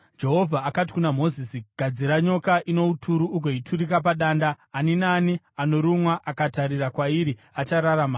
Jehovha akati kuna Mozisi, “Gadzira nyoka ino uturu ugoiturika padanda; ani naani anorumwa, akatarira kwairi achararama.”